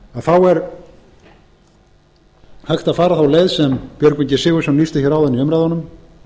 þá er hægt að fara þá leið sem björgvin g sigurðsson lýsti hér áðan í umræðunum